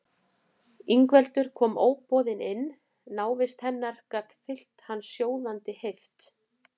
Ingveldur kom óboðin inn, návist hennar gat fyllt hann sjóðandi heift.